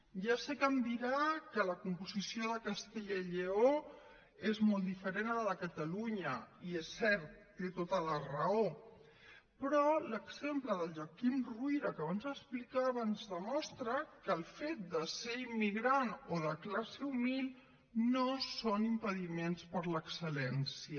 ja sé que em dirà que la composició de castella i lleó és molt diferent de la de catalunya i és cert té tota la raó però l’exemple de la joaquim ruyra que abans explicava ens demostra que el fet de ser immigrant o de classe humil no són impediments per a l’excel·lència